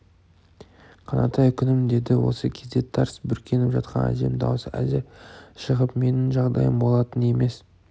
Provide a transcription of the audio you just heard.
қанатай күнім деді осы кезде тарс бүркеніп жатқан әжем даусы әзер шығып менің жағдайым болатын емес